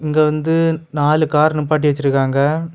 இங்க வந்து நாலு கார் நிப்பாட்டி வச்சிருக்காங்க.